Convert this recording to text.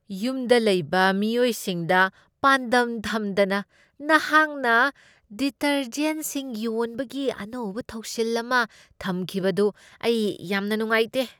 ꯌꯨꯝꯗ ꯂꯩꯕ ꯃꯤꯑꯣꯏꯁꯤꯡꯗ ꯄꯥꯟꯗꯝ ꯊꯝꯗꯅ ꯅꯍꯥꯛꯅ ꯗꯤꯇꯔꯖꯦꯟꯠꯁꯤꯡ ꯌꯣꯟꯕꯒꯤ ꯑꯅꯧꯕ ꯊꯧꯁꯤꯜ ꯑꯃ ꯊꯝꯈꯤꯕꯗꯨ ꯑꯩ ꯌꯥꯝꯅ ꯅꯨꯡꯉꯥꯏꯇꯦ ꯫